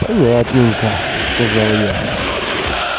понятненько сказал я